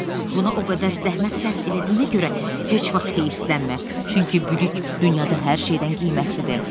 Buna o qədər zəhmət sərf elədiyinə görə heç vaxt həvslənmə, çünki bilik dünyada hər şeydən qiymətlidir.